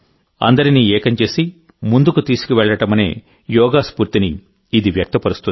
అందరినీ ఏకం చేసి ముందుకు తీసుకువెళ్ళడమనే యోగా స్ఫూర్తిని ఇది వ్యక్తపరుస్తుంది